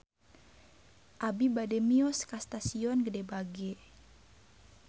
Abi bade mios ka Stasiun Gede Bage